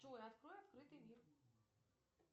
джой открой открытый мир